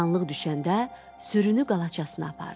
Qaranlıq düşəndə sürünü qalaçasına apardı.